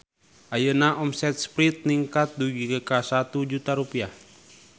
Ayeuna omset Sprite ningkat dugi ka 1 juta rupiah